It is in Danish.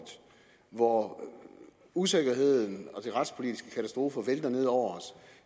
hvor usikkerheden og de retspolitiske katastrofer vælter ned over os